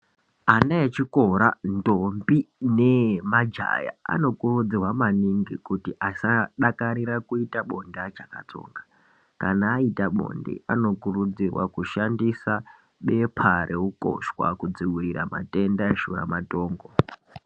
Ana echikora, ndombi nemajaha anokurudzirwa maningi kuti asadakarira kuita bonde achiri achakatsonga. Kana aita bonde, anokurudzirwa kushandisa bepa reukoshwa kudzivirira matenda eshuramatongo.